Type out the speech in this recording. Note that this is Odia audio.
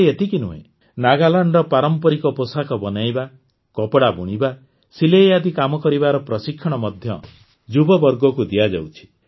ଖାଲି ଏତିକି ନୁହେଁ ନାଗାଲାଣ୍ଡର ପାରମ୍ପରିକ ପୋଷାକ ବନେଇବା କପଡ଼ା ବୁଣିବା ସିଲେଇ ଆଦି କାମ କରିବାର ପ୍ରଶିକ୍ଷଣ ମଧ୍ୟ ଯୁବବର୍ଗକୁ ଦିଆଯାଉଛି